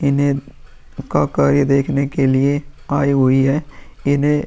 इन्हे क क देखने के लिए आई हुई है। इन्हे --